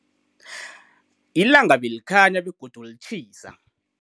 Ilanga belikhanya begodu litjhisa.